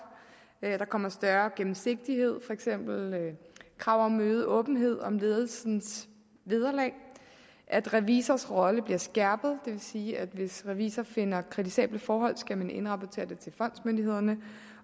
at der kommer større gennemsigtighed for eksempel krav om øget åbenhed om ledelsens vederlag at revisors rolle bliver skærpet vil sige at hvis revisor finder kritisable forhold skal man indrapportere det til fondsmyndighederne